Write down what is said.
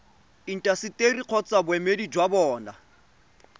intaseteri kgotsa boemedi jwa bona